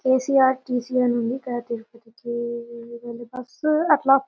KCRTC అని ఉంది.ఇక్కడ తిరుపతికి వెళ్లి బస్సు అట్లా--